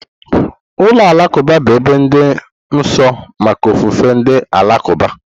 Ụlọ alakụba bụ ebe dị nsọ maka ofufe ndị Alakụba.